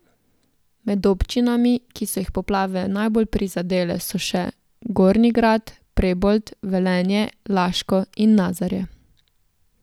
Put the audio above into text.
Med občinami, ki so jih poplave najbolj prizadele, so še Gornji Grad, Prebold, Velenje, Laško in Nazarje.